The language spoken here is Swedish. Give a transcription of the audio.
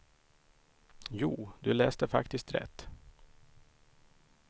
Jo, du läste faktiskt rätt.